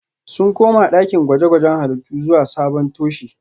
Sun koma dakin gwaje-gwajen halittu zuwa sabon toshe